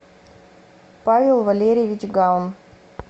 павел валерьевич гаун